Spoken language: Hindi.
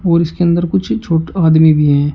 और इसके अंदर कुछ छोटा आदमी भी है।